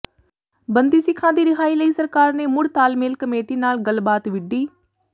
ਬੰਦੀ ਸਿੱਖਾਂ ਦੀ ਰਿਹਾਈ ਲਈ ਸਰਕਾਰ ਨੇ ਮੁੜ ਤਾਲਮੇਲ ਕਮੇਟੀ ਨਾਲ ਗੱਲਬਾਤ ਵਿੱਢੀ